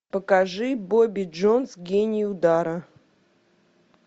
покажи бобби джонс гений удара